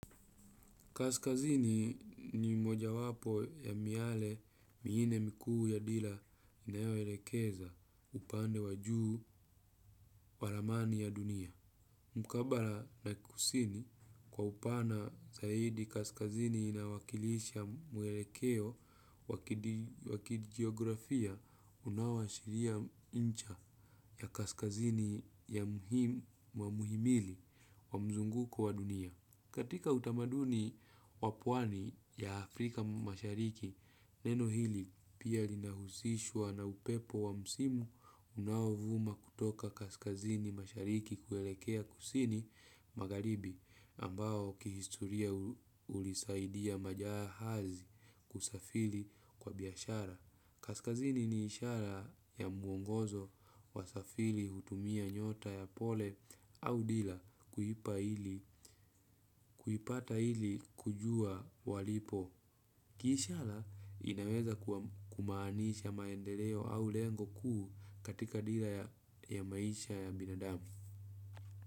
Kaskazini ni mojawapo ya miale minne mikuu ya dira inayoelekeza upande wa juu wa ramani ya dunia. Mkabala na kusini, kwa upana zaidi kaskazini inawakilisha mwelekeo wa kijeografia unaoashiria ncha ya kaskazini wa mhimili wa mzunguko wa dunia. Katika utamaduni wa pwani ya Afrika mashariki, neno hili pia linahusishwa na upepo wa msimu unaovuma kutoka kaskazini mashariki kuelekea kusini magharibi ambao kihistoria hulisaidia majahazi kusafiri kwa biashara. Kaskazini ni ishara ya mwongozo wasafiri hutumia nyota ya pole au dira kuipata ili kujua walipo. Kiishara inaweza kumaanisha maendeleo au lengo kuu katika dira ya maisha ya binadamu.